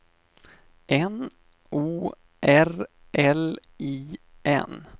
N O R L I N